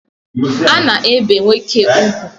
A na-ebikwa nwoke ugwu.